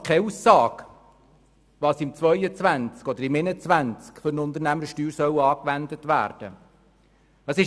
Er macht keine Aussage, welche Unternehmenssteuer im Jahr 2022 oder 2021 angewendet werden soll.